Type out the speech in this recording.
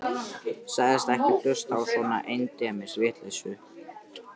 Sagðist ekki hlusta á svona endemis vitleysu.